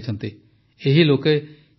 ଏହି ଲୋକେ